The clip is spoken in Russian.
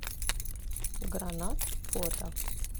гранат фото